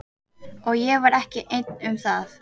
Og ég var ekki einn um það.